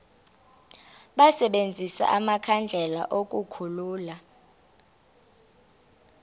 basebenzise amakhandlela ukukhulula